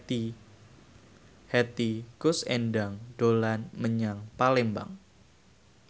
Hetty Koes Endang dolan menyang Palembang